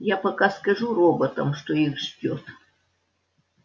я пока скажу роботам что их ждёт